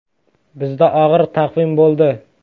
Bizda og‘ir taqvim bo‘ldi.